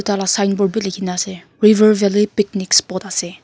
signboard bi likhi na ase river valley picnic spot ase.